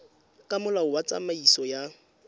ka molao wa tsamaiso ya